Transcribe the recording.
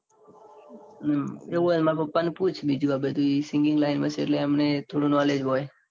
હમ એવું હોય તો માર પાપા ને પૂછ બીજું બધું એ singing line માં છે. એટલે એમને થોડું knowledge હોય.